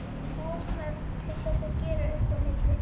Of mörg til þess að gera upp á milli.